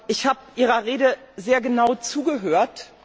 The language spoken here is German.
Ich habe Ihrer Rede sehr genau zugehört.